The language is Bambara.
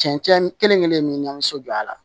Cɛncɛn kelen-kelen in min ɲamna